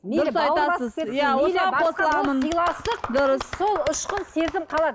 дұрыс сол ұшқын сезім қалады